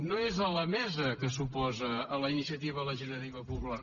no és la mesa que s’oposa a la iniciativa legislativa popular